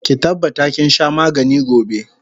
Ki tabbata kinsha magani gobe!